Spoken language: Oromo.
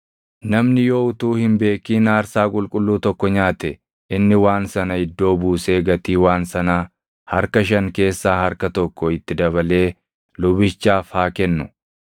“ ‘Namni yoo utuu hin beekin aarsaa qulqulluu tokko nyaate, inni waan sana iddoo buusee gatii waan sanaa harka shan keessaa harka tokko itti dabalee lubichaaf haa kennu.